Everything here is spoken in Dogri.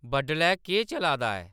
बडलै केह् चला दा ऐ